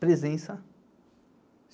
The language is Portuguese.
Presença.